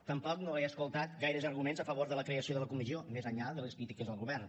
tampoc no he escoltat gaires arguments a favor de la creació de la comissió més enllà de les crítiques al govern